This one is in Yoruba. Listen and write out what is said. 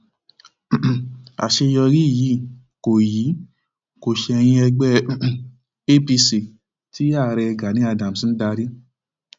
um àṣeyọrí yìí kò yìí kò ṣẹyìn ẹgbẹ um apc tí ààrẹ gani adams ń darí